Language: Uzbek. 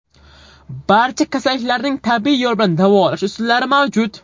Barcha kasalliklarning tabiiy yo‘l bilan davolash usullari mavjud.